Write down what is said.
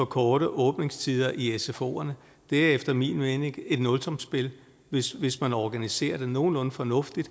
korte åbningstider i sfoerne efter min mening er et nulsumsspil hvis hvis man organiserer det nogenlunde fornuftigt